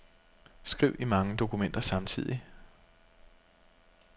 Skriv i mange dokumenter samtidig.